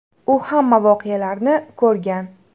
U hamma voqealarni ko‘rgan.